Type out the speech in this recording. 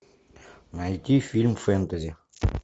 найти фильм фэнтези